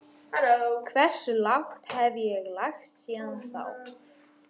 Hversu lágt hef ég lagst síðan þá?